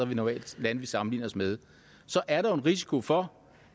vi normalt sammenligner os med så er der en risiko for